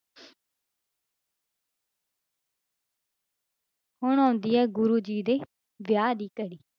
ਹੁਣ ਆਉਂਦੀ ਹੈ ਗੁਰੂ ਜੀ ਦੇ ਵਿਆਹ ਦੀ ਘੜੀ।